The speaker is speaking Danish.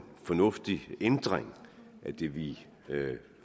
fornuftig ændring vi vi